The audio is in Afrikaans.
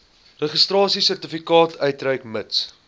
registrasiesertifikaat uitreik mits